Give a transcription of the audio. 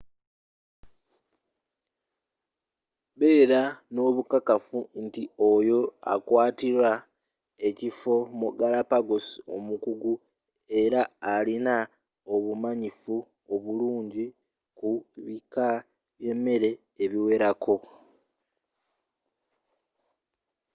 beera n'obukakafu nti oyo akukwaatira ekifo mu galapagos omukugu era alina obumanyifu obulungi ku bika by'emmeeri ebiwerako